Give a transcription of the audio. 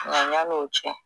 Nka yan'o cɛ